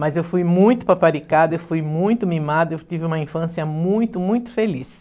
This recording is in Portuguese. Mas eu fui muito paparicada, eu fui muito mimada, eu tive uma infância muito, muito feliz.